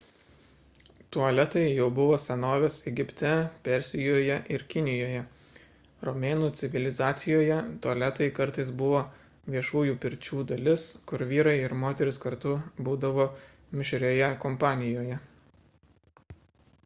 tualetai jau buvo senovės egipte persijoje ir kinijoje romėnų civilizacijoje tualetai kartais buvo viešųjų pirčių dalis kur vyrai ir moterys kartu būdavo mišrioje kompanijoje